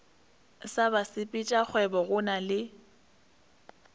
sa basepetšakgwebo go na le